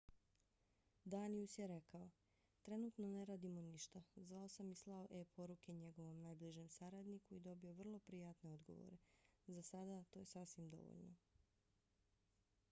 danius je rekao: trenutno ne radimo ništa. zvao sam i slao e-poruke njegovom najbližem saradniku i dobio vrlo prijatne odgovore. za sada to je sasvim dovoljno.